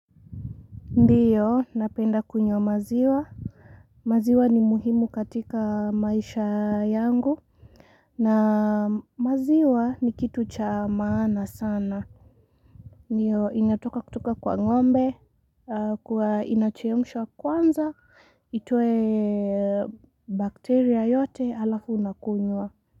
Ndiyo, napenda kunywa maziwa, maziwa ni muhimu katika maisha yangu, na maziwa ni kitu cha maana sana, niyo inatoka kutoka kwa ng'ombe, inachemshwa kwanza, itoe bakteria yote alafu unakunywa.